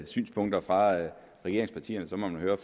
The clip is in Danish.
synspunkter fra regeringspartierne må høre